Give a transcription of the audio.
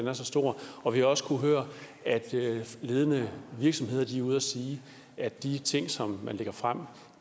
er så stor og vi har også kunnet høre at ledende virksomheder er ude at sige at de ting som man lægger frem